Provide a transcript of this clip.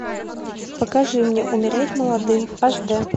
покажи мне умереть молодым аш дэ